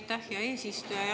Aitäh, hea eesistuja!